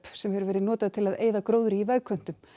sem hefur verið notað til að eyða gróðri í vegköntum